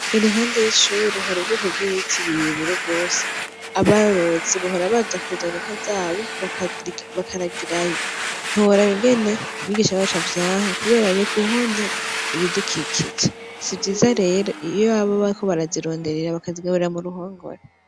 Iruhande y'ishuri hari ubweko bw'ibitibiriyebire rwose abarozi bahora baza kuzana inka zabo bakaragirayo ntuhorabigene mw'igisha baca avyanka, kubera yo guhonya ibidukikije sivyiza rero iyo abo bako barazironderera bakazigaburira mu ruhongore.